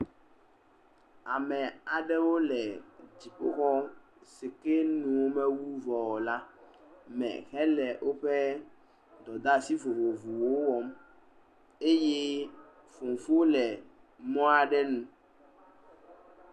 Ame aɖewo le dziƒoxɔ si ke nu womewu vɔ o la me hele woƒe dɔdeasi vovovowo wɔm eye fofo le mɔa ɖe nu.